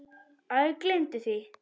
Æ, gleymdu því.